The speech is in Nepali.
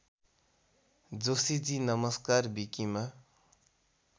जोशीजी नमस्कार विकिमा